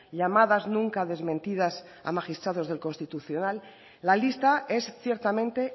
llamadas nunca desmentidas a magistrados del constitucional la lista es ciertamente